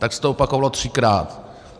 Tak se to opakovalo třikrát.